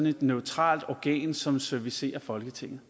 et neutralt organ som servicerer folketinget